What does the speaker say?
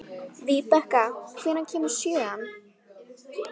Víbekka, hvenær kemur sjöan?